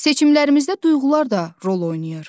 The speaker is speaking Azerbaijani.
Seçimlərimizdə duyğular da rol oynayır.